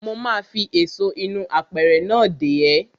Mo ma fi èso inú apẹ̀rẹ̀ náà dè ẹ́.